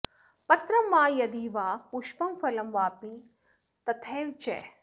पत्रं वा यदि वा पुष्पं फलं वापि तथैव च